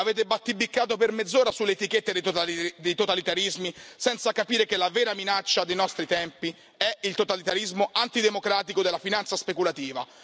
Avete battibeccato per mezz'ora sulle etichette dei totalitarismi senza capire che la vera minaccia dei nostri tempi è il totalitarismo antidemocratico della finanza speculativa.